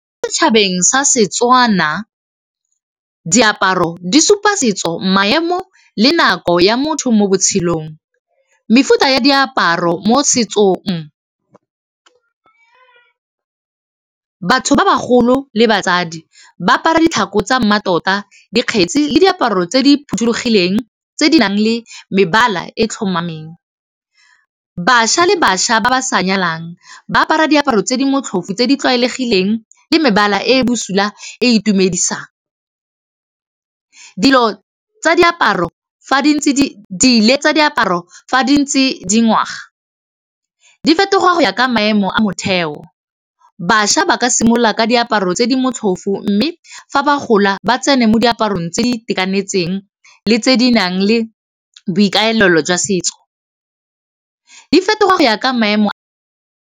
Mo setšhabeng sa Setswana diaparo di supa setso maemo le nako ya motho mo botshelong, mefuta ya diaparo mo setsong batho ba ba golo le batsadi ba apara ditlhako tsa mmatota dikgetsi le diaparo tse di phothulogileng tse di nang le mebala e tlhomameng, bašwa le bašwa ba ba sa nyalang ba apara diaparo tse di motlhofo tse di tlwaelegileng le mebala e bosula e e itumedisang, dilo tsa diaparo fa di ntse di ngwaga di fetoga go ya ka maemo a motheo, bašwa ba ka simolola ka diaparo tse di motlhofo mme fa ba gola ba tsene mo diaparong tse di itekanetseng le tse di nang le boikaelelo jwa setso, di fetoga go ya ka maemo a.